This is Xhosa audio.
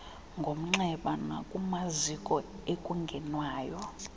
ngomnxeba nakumaziko ekungenwayo